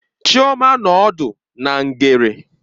Chioma nọ ọdụ na ngere.